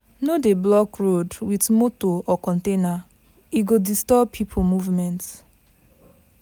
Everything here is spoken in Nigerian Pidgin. No dey block road with motor or container, e go disturb people movement.